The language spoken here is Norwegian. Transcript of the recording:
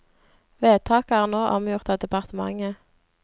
Vedtaket er nå omgjort av departementet.